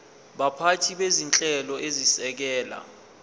baphathi bezinhlelo ezisekela